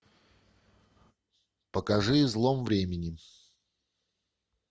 покажи излом времени